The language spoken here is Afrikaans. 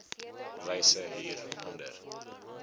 wyse hier onder